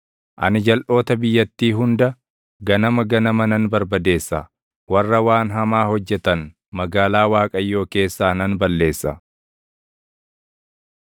Ani jalʼoota biyyattii hunda, ganama ganama nan barbadeessa; warra waan hamaa hojjetan magaalaa Waaqayyoo keessaa nan balleessa.